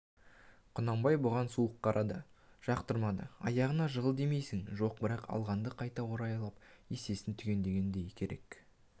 құнанбай бұған суық қарады жақтырмады аяғына жығыл деймісің жоқ бірақ алғанды қайта орайлап есесін түгендеу керек